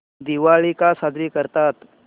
दिवाळी का साजरी करतात